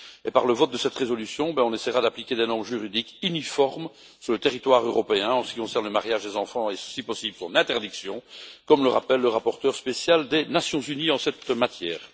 Par le vote de cette résolution, nous essaierons d'appliquer des normes juridiques uniformes sur le territoire européen en ce qui concerne le mariage des enfants et, si possible, son interdiction, comme le rappelle le rapporteur spécial des Nations unies en la matière.